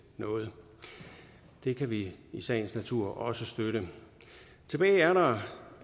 noget det kan vi i sagens natur også støtte tilbage er der